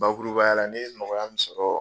Bakuruba ya la ne ye nɔkɔya min sɔrɔ